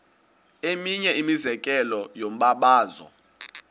eminye imizekelo yombabazo